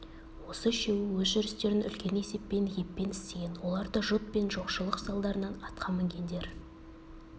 осы үшеуі өз жүрістерін үлкен есеппен еппен істеген олар да жұт пен жоқшылық салдарынан атқа мінгендер